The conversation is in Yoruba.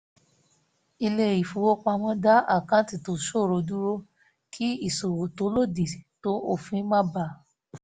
ilé-ìfowópamọ́ dá àkáǹtì tó ṣòro dúró kí ìṣòwò tó lòdì tó òfin má bà a